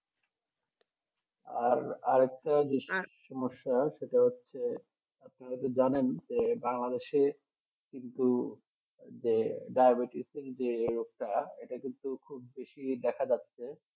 আর আর একটা সমস্যা সেটা হচ্ছ আপনারা তো জানেন Bangladesh কিন্তু যে ডায়াবেটিসের যে রোগটা সেটা খুব বেশি দেখা যাচ্ছে